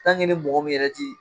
ni mɔgɔ min yɛrɛ ti